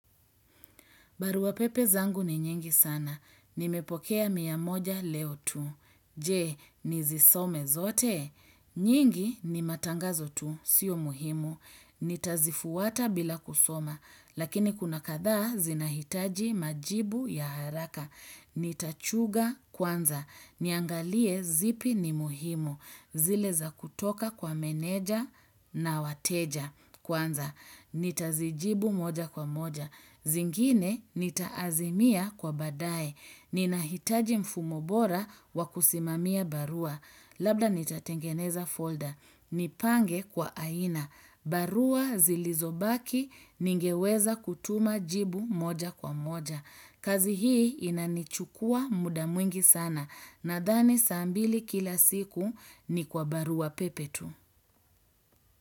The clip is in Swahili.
Baruwa pepe zangu ni nyingi sana. Nimepokea miamoja leo tu. Je, nizisome zote? Nyingi ni matangazo tu. Sio muhimu. Nitazifuta bila kusoma. Lakini kuna kadhaa zinahitaji majibu ya haraka. Nitachuja kwanza. Niangalie zipi ni muhimu. Zile za kutoka kwa meneja na wateja kwanza. Nitazijibu moja kwa moja. Zingine nitaazimia kwa badae. Nina hitaji mfumo bora wa kusimamia barua. Labda nita tengeneza folder. Nipange kwa aina. Barua zilizobaki ningeweza kutuma jibu moja kwa moja. Kazi hii inanichukua muda mwingi sana. Nadhani sambili kila siku ni kwa barua pepe tu.